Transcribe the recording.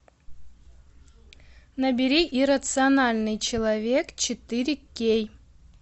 набери иррациональный человек четыре кей